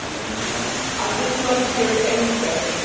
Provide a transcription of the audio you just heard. I did not hear any question in this.